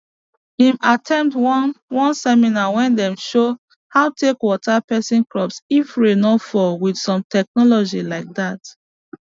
him at ten d one one seminar wey dem show how take water person crop if rain no fall with some technology like that